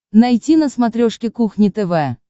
найти на смотрешке кухня тв